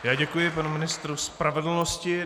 Já děkuji panu ministru spravedlnosti.